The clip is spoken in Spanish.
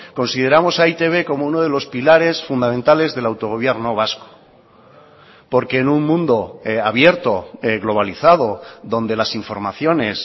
consideramos a e i te be como uno de los pilares fundamentales del autogobierno vasco porque en un mundo abierto globalizado donde las informaciones